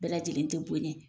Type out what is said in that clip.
Bɛɛ lajɛlen tɛ bonyɛ.